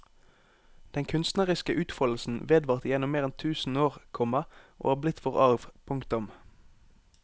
Den kunstneriske utfoldelsen vedvarte gjennom mer enn tusen år, komma og er blitt vår arv. punktum